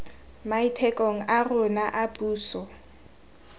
maitekong a rona a puso